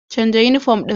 Canza yunifom ɗin.